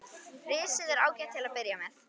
Risið er ágætt til að byrja með.